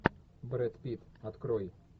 брэд питт открой